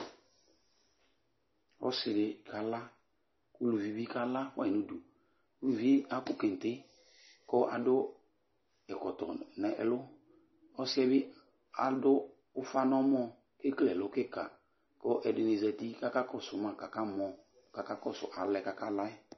Ɔsi di kala, uluvi bi kala fuayi n'udu Uvie akɔ kente, ku adu ɛkɔtɔ n'ɛlu, ɔsi'ɛ bi adu ufa n'ɔmɔ, k'ekele ɛlu kika, ku ɛdini zati k'aka kɔsu ma k'aka mɔ, k'aka kɔsu al'ɛ kaka la'ɛ